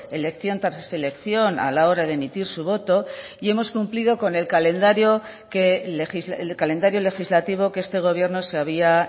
elección tras elección a la hora de emitir su voto y hemos cumplido con el calendario legislativo que este gobierno se había